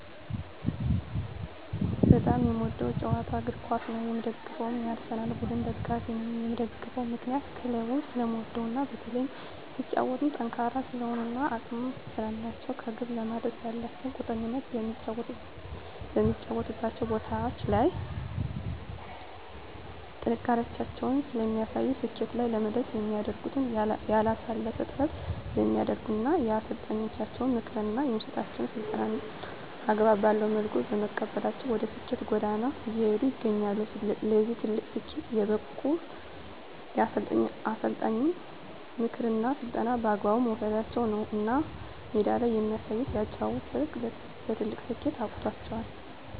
በጣም የምወደዉ ጨዋታ እግርኳስ ነዉ የምደግፈዉም የአርሰላን ቡድን ደጋፊ ነኝ የምደግፍበት ምክንያት ክለቡን ስለምወደዉ እና በተለይም ሲጫወቱም ጠንካራ ስለሆኑ እና አቅም ስላላቸዉ ከግብ ለመድረስ ያላቸዉ ቁርጠኝነት በሚጫወቱባቸዉ ቦታዎች ላይ ጥንካሬያቸውን ስለሚያሳዩ ስኬት ላይ ለመድረስ የሚያደርጉት ያላለሰለሰ ጥረት ስለሚያደርጉ እና የአሰልጣኛቸዉን ምክር እና የሚሰጣቸዉን ስልጠና አግባብ ባለዉ መልኩ በመቀበላቸዉ ወደ ስኬት ጎዳና እየሄዱ ይገኛሉ ለዚህ ትልቅ ስኬት የበቁት የአሰልጣኝን ምክርና ስልጠና በአግባቡ መዉሰዳቸዉ ነዉ እና ሜዳ ላይ የሚያሳዩት የአጨዋወት ስልት ለትልቅ ስኬት አብቅቷቸዋል